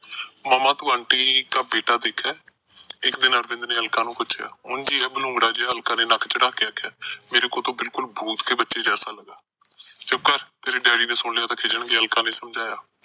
ਮੰਮਾ ਤੂੰ ਆਂਟੀ ਕਾ ਬੇਟਾ ਦੇਖਾ, ਇੱਕ ਦਿਨ ਅਰਵਿੰਦ ਨੇ ਅਲਕਾ ਨੂੰ ਪੁਛਿਆ। ਉਂਝ ਈ ਆ, ਬਲੂੰਗੜਾ ਜਾ, ਅਲਕਾ ਨੇ ਨੱਕ ਚੜ੍ਹਾਕੇ ਆਖਿਆ। ਮੇਰੇ ਕੋ ਤੋ ਬਿਲਕੁਲ ਭੁਤ ਕੇ ਬੱਚੇ ਜੈਸਾ ਲੱਗਾ। ਚੁੱਪ ਕਰ, ਤੇਰੇ daddy ਨੇ ਸੁਣ ਲਿਆ ਤਾਂ ਖਿਜੇਗਾ, ਅਲਕਾ ਨੇ ਸਮਝਾਇਆ।